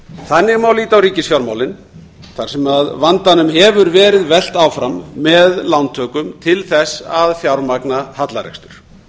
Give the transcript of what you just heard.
þannig má líta á ríkisfjármálin þar sem vandanum hefur verið velt áfram með lántökum til að fjármagna hallarekstur